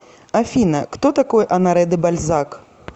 афина кто такой оноре де бальзак